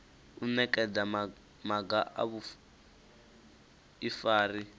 u nekedza maga a vhuifari